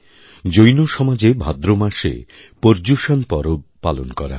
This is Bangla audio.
জৈন সমাজেভাদ্র মাসে পর্যুষণ পরব পালন করা হয়